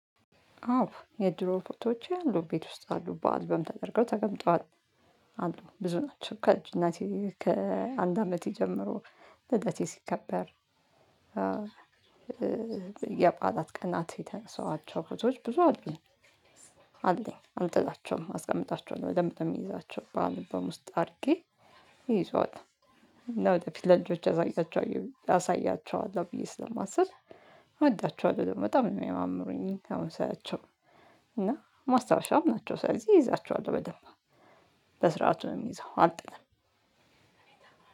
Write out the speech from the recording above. አዎ የድሮ ፎቶዎቼ አሉ ቤት ውስጥ አሉ በአልበም ተደርገው ተቀምጠዋል አሉ ብዙ ናቸው ከልጅነቴ ከአንድ አመቴ ጀምሮ ልደቴ ሲከበር። የበዓላት ቀናት የተነሳዋቸው ፎቶዎች ብዙ አሉኝ። አለኝ አልጥላቸውም አስቀምጣቸዋለሁ በደምብ ነው የሚይዛቸው በአልበም ውስጥ አድርጌ እይዘዋል። እና ወደፊት ለልጆቼ አሳያቸው አሳያቸዋለሁ ብዬ ስለማስብ እወዳቸዋለሁ ደግሞ በጣም ነው የሚያማምሩኝ። አሁን ሳያቸው እና ማስታወሻም ናቸው። ስለዚህ እይዛቸዋለሁ በደንብ። በስርዓቱ ነው የምይዘው አልጥልም።